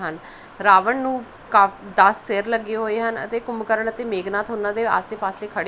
ਰਾਵਣ ਨੂੰ ਦਸ ਸੇਰ ਲੱਗੇ ਹੋਏ ਹਨ ਅਤੇ ਕੁੰਭਕਰਨ ਅਤੇ ਮੇਗਨਾਥ ਉਹਨਾਂ ਦੇ ਆਸੇ ਪਾਸੇ ਖੜੇ--